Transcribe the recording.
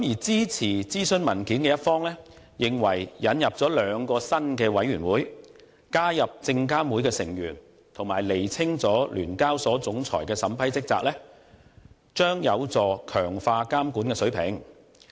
支持諮詢文件的一方認為，引入兩個新委員會並加入證監會的成員，以及釐清聯交所總裁的審批職責，將有助強化監管水平。